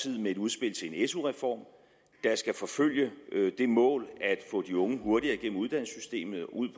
med et udspil til en su reform der skal forfølge det mål at få de unge hurtigere igennem uddannelsessystemet og ud